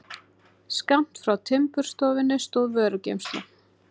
Skammt frá timburstofunni stóð vörugeymsla.